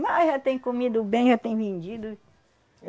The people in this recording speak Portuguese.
Mas já tem comido bem, já tem vendido.